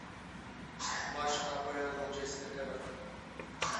матч апл манчестер эвертон